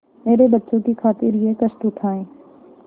मेरे बच्चों की खातिर यह कष्ट उठायें